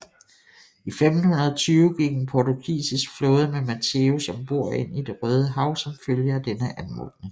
I 1520 gik en portugisisk flåde med Mateus ombord ind i Det Røde Hav som følge af denne anmodning